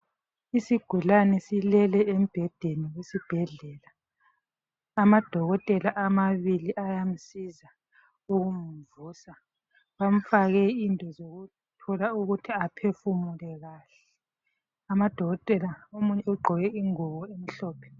Isigulane silele embhedeni esibhedlela. Amadokotela amabili ayamsiza ukumvusa, bamfake into zokuthola ukuthi aphefumele kahle. Amadokotela, omunye ugqoke ingubo emhlophe.